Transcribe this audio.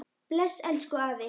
Bless, elsku afi.